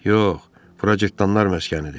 Yox, cırtdanlar məskənidir.